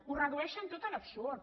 ho redueixen tot a l’absurd